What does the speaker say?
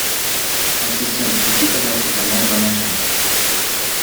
ассистент включи пожалуйста канал домашний